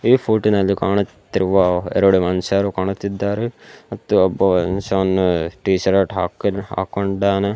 ಈ ಫೋಟೋ ನಲ್ಲಿ ಕಾಣುತ್ತಿರುವ ಎರಡು ಮನುಷ್ಯರು ಕಾಣುತ್ತಿದ್ದಾರೆ ಮತ್ತು ಒಬ್ಬ ಮನುಷ್ಯ ವನ್ನು ಟೀಶರ್ಟ್ ಹಾಕೊಂಡ್ ಹಾಕೊಂಡಾನ.